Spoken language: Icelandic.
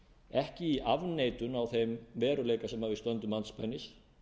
ekki í afneitun á þeim veruleika sem við stöndum andspænis